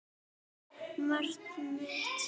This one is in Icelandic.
Markið mitt?